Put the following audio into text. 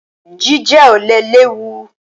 Jíjẹ ọ̀lẹ léwu.